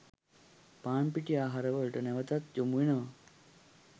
පාන් පිටි ආහාර වලට නැවතත් යොමු වෙනවා